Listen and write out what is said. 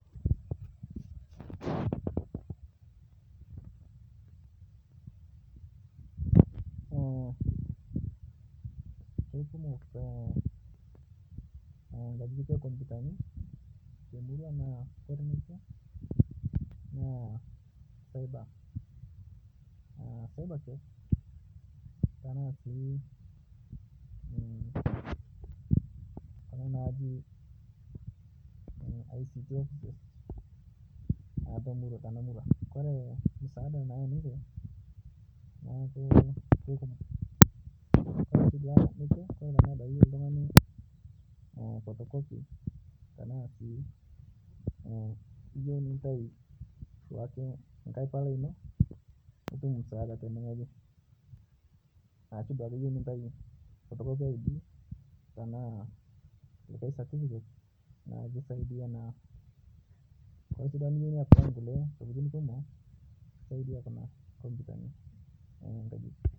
Keikumok nkajijik ekomputani temuraa nakore nekwe na saiba kafe tanasi Kuna naji ict ofices tomura tanamura, Kore musaada nayeu ninche naaku keikumok Kore nekwe Kore duake tanaa keyeu ltungani potokopi tanaasi iyeu nintai duake nkae palai ino nitum msaada tenengoji ashu duake iyeu nintai potokopi eidi tanaa likae satifiket naku kisaidia naa Kore duake niyeu niaply nkule tokitin kumo kisaidia Kuna komputani